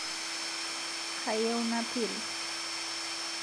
Kayieu napiru